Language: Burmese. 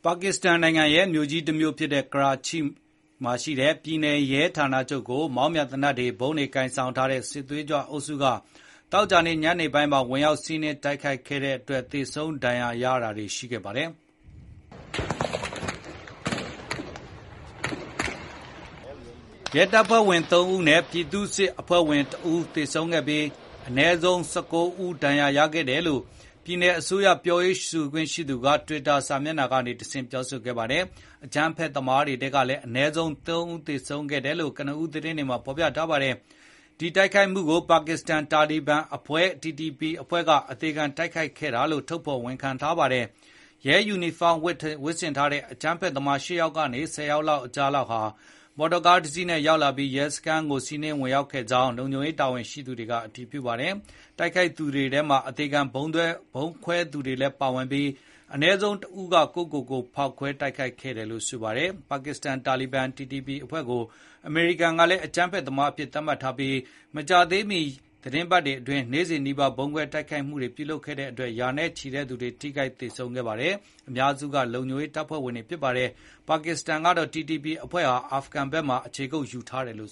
ါကစ္စတန်နိုင်ငံရဲ့ အကြီးဆုံးမြို့ဖြစ်တဲ့ ကရာချိက ရဲဌာနချုပ်ကို မောင်းပြန် သေနတ်တွေ၊ ဗုံးတွေ ကိုင်ဆောင်ထားတဲ့ စစ်သွေးကြွအုပ်စုက သောကြာနေ့ညနေပိုင်းမှာ ဝင်ရောက်စီးနင်း တိုက်ခိုက်ခဲ့တဲ့အတွက် သေဆုံးဒါဏ်ရာရတာတွေ ရှိခဲ့ပါတယ်။ ရဲတပ်ဖွဲ့ဝင် ၃ ဦးနဲ့ ပြည်သူ့စစ်အဖွဲ့ဝင် ၁ ဦးသေဆုံးခဲ့ပြီး၊ အနည်းဆုံး ၁၉ ဦး ဒါဏ်ရာရခဲ့တယ်လို့ ပြည်နယ်အစိုးရ ပြောရေးဆိုခွင့်ရှိ သူ Murtaza Wahab Siddiqui က တွစ်တာကနေတဆင့် ပြောဆိုခဲ့ပါတယ်။ အကြမ်းဖက်သမားတွေထဲကလည်း အနည်းဆုံး ၃ ဦးသေဆုံးခဲ့တယ်လို့ ကနဦး သတင်းတွေမှာဖေါ်ပြထားပါတယ်။ ဒီတိုက်ခိုက်မှုကို ပါကစ္စတန်-တာလီဘန်အဖွဲ့Tehrik-i-Taliban Pakistan (TTP) အဖွဲ့က အသေခံ တိုက်ခိုက်ခဲ့တာလို့ ထုတ်ဖေါ်ဝန်ခံပါတယ်။ ရဲယူနီဖောင်းတွေ ဝတ်ဆင်ထားတဲ့ အကြမ်းဖက်သမား ၈ ယောက်ကနေ ၁၀ ယောက်ကြားလောက်ဟာ မော်တော်ယာဉ်တစီးနဲ့ ရောက်လာပြီး ရဲစခန်းကို ဝင်စီးနင်းခဲ့ကြောင်း၊ လုံခြုံရေး တာဝန်ရှိသူတွေက အတည်ပြုထားပါတယ်။ တိုက်ခိုက်သူတွေထဲမှာ အသေခံ ဗုံးခွဲသူတွေလည်း ပါဝင်ပြီး အနည်းဆုံးတဦးက ကိုယ့်ကိုယ်ကိုယ် ဖောက်ခွဲ ခဲ့တယ်လို့ ဆိုပါတယ်။ အမေရိကန်ကလည်း ပါကစ္စတန်-တာလီဘန် TTP အဖွဲ့ကို အကြမ်းဖက်အဖွဲ့အဖြစ် သတ်မှတ်ထားပြီး၊ မကြာသေးမီ သီတင်းပတ်တွေအတွင်း နေ့စဉ်နီးပါး ဗုံးခွဲတိုက်ခိုက်မှု လုပ်ခဲ့တဲ့အတွက် ရာနဲ့ချီတဲ့သူတွေ ထိခိုက်သေဆုံးခဲ့ရတဲ့အထဲ အများစုက လုံခြုံရေးတပ်ဖွဲ့ဝင်တွေဖြစ်ပါတယ်။ ပါကစ္စတန်ကတော့ TTP အဖွဲ့ဟာ အာဖဂန်ဘက်မှာ အခြေကုတ်ယူ ထားတယ်လို့